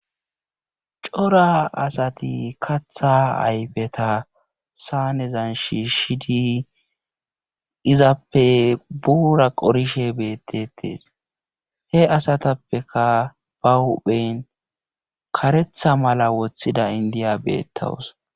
cora asati kaththaa ayfeta saanezan shiishshidi izappe buura qorishe beettetes he asatappekka ba huuphen karetha mala wothida inddiya beettawus.